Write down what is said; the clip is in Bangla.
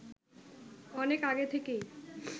অনেক আগে থেকেই